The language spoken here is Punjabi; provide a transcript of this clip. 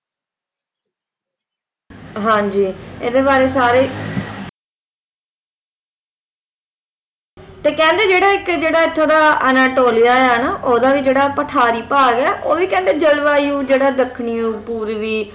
ਹਾਂ ਜੀ ਇਹਦੇ ਬਾਰੇ ਸਾਰੇ ਤੇ ਕਹਿੰਦੇ ਜਿਹੜਾ ਇੱਕ ਇੱਥੋਂ ਦਾ ਅਨਤੋਲਿਆ ਹੈ ਨਾ ਓਹਦਾ ਵੀ ਜਿਹੜਾ ਪਠਾਰੀ ਭਾਗ ਹੈ ਉਹ ਵੀ ਕਹਿੰਦਾ ਉਹ ਵੀ ਕਹਿੰਦਾ ਜਲਵਾਯੂ ਜਿਹੜੀ ਦੱਖਣੀ ਪੂਰਵੀ